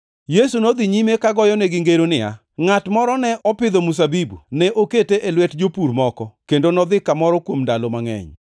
Yesu nodhi nyime kogoyonegi ngero niya, “Ngʼat moro ne opidho mzabibu, ne okete e lwet jopur moko kendo nodhi kamoro kuom ndalo mangʼeny.